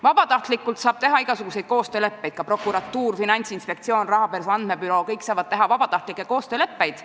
Vabatahtlikult saab teha igasuguseid koostööleppeid, ka prokuratuur, Finantsinspektsioon ja rahapesu andmebüroo saavad teha vabatahtlikke koostööleppeid.